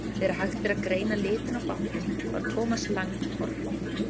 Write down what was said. Þegar hægt var að greina litinn á bátnum var Thomas Lang horfinn.